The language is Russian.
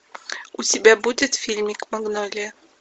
у тебя будет фильмик магнолия